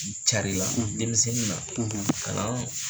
K'i carila denmisɛnnin na kalaan